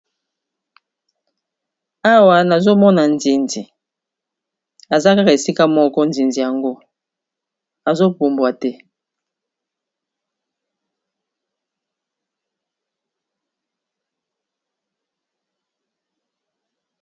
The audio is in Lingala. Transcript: Awa nazomona nsinzi, azakaka esika moko nzinzii yango azobumbwa te?